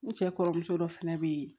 U cɛ kɔrɔmuso dɔ fɛnɛ be yen